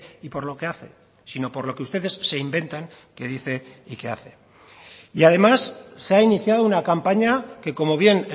y por lo que hace sino por lo que ustedes se inventan que dice y que hace y además se ha iniciado una campaña que como bien